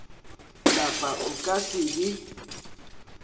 lapa o ka se le